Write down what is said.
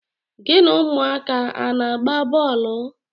Gị na ụmụaka a na-agba bọọlụ?